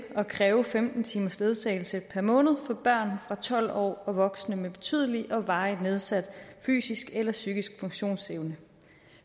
at kræve femten timers ledsagelse per måned for børn fra tolv årsalderen og for voksne med betydelig og varigt nedsat fysisk eller psykisk funktionsevne